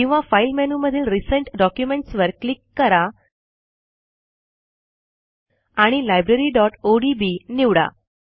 किंवा फाईल मेनूमधील recent documents वर क्लिक करा आणि libraryओडीबी निवडा